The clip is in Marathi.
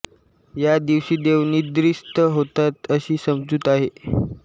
या दिवशी देव निद्रिस्त होतात अशी समजूत आहे